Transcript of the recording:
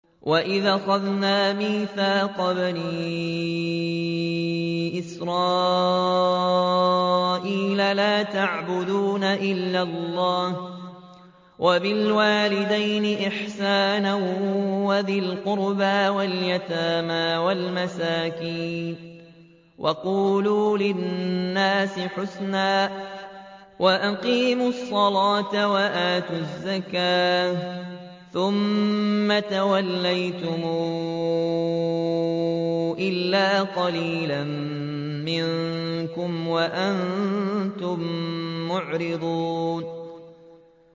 وَإِذْ أَخَذْنَا مِيثَاقَ بَنِي إِسْرَائِيلَ لَا تَعْبُدُونَ إِلَّا اللَّهَ وَبِالْوَالِدَيْنِ إِحْسَانًا وَذِي الْقُرْبَىٰ وَالْيَتَامَىٰ وَالْمَسَاكِينِ وَقُولُوا لِلنَّاسِ حُسْنًا وَأَقِيمُوا الصَّلَاةَ وَآتُوا الزَّكَاةَ ثُمَّ تَوَلَّيْتُمْ إِلَّا قَلِيلًا مِّنكُمْ وَأَنتُم مُّعْرِضُونَ